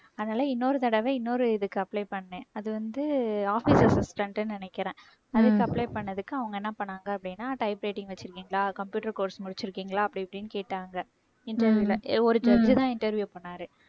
அதனால இன்னொரு தடவை இன்னொரு இதுக்கு apply பண்ணேன் அது வந்து office assistant ன்னு நினைக்கிறேன். அதுக்கு apply பண்ணதுக்கு அவங்க என்ன பண்ணாங்க அப்படின்னா type writing வச்சிருக்கீங்களா computer course முடிச்சிருக்கீங்களா அப்படி இப்படின்னு கேட்டாங்க interview ல ஒரு judge தான் interview பண்ணாரு.